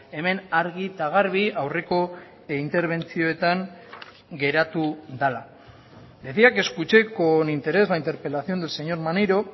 hemen argi eta garbi aurreko interbentzioetan geratu dela decía que escuché con interés la interpelación del señor maneiro